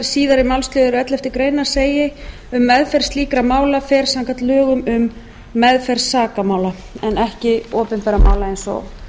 síðari málsliður elleftu grein orðist svo um meðferð slíkra mála fer samkvæmt lögum um meðferð sakamála ekki opinberra mála eins og